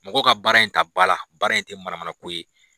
Mɔgɔ ka baara in ta ba la baara in tɛ mana mana ko ye